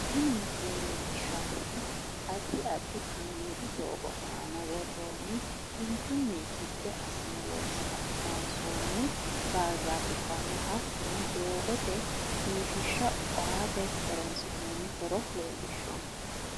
tini misile leellishshanohu addi addi kaameelu doogo aana worroonni kinchunni gibbe assine loonse ka'ne ka'ne loonsoonni barzaafubbanna hattono doogote biifishsha aate horonsi'noonni horo leellishshanno.